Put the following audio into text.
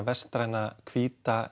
vestræna hvíta